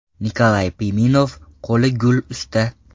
Nikolay Piminov qo‘li gul usta.